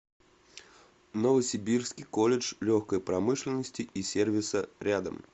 новосибирский колледж легкой промышленности и сервиса рядом